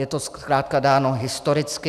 Je to zkrátka dáno historicky.